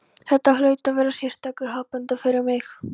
Þetta hlaut að vera sérstakur happadagur fyrir mig.